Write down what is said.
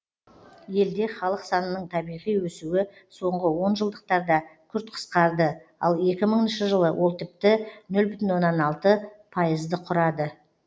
елде халық санының табиғи өсуі соңғы онжылдықтарда күрт қысқарды ал екі мыңыншы жылы ол тіпті нөл бүтін оннан алты пайызды құрады